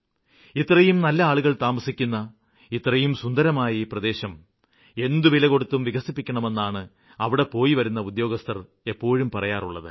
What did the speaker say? ഇത്രയും നല്ല ആളുകള് താമസിക്കുന്ന ഇത്രയും സുന്ദരമായ ഈ പ്രദേശം എന്തു വിലകൊടുത്തും വികസിപ്പിക്കണമെന്നാണ് അവിടെപോയിവരുന്ന ഉദ്യോഗസ്ഥര് എപ്പോഴും പറയാറുള്ളത്